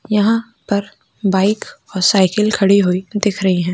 यहा पर बाइक और साइकिल खड़ी हुई दिख रही है।